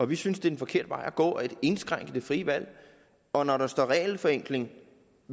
vi synes det er en forkert vej at gå at indskrænke det frie valg og når der står regelforenkling i